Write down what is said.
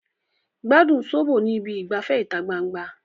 Gbádùn sóbò ní ibi ìgbafẹ́ ìta gbangba